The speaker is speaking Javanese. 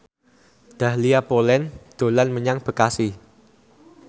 Dahlia Poland dolan menyang Bekasi